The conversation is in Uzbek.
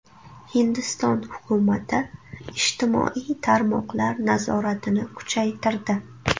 Hindiston hukumati ijtimoiy tarmoqlar nazoratini kuchaytirdi.